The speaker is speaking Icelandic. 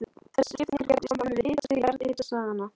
Þessi skipting er gerð í samræmi við hitastig jarðhitasvæðanna.